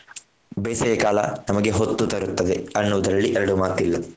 ಬೇಸಗೆಕಾಲ ನಮಗೆ ಹೊತ್ತು ತರುತ್ತದೆ ಅನ್ನುವುದರಲ್ಲಿ ಎರಡು ಮಾತಿಲ್ಲ.